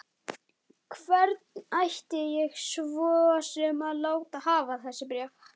Hvern ætti ég svo sem að láta hafa þessi bréf?